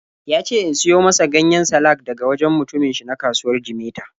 Ya ce in siyo masa ganyen salak daga wajen mutumin shi na kasuwar Jimeta.